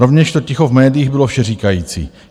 Rovněž to ticho v médiích bylo všeříkající.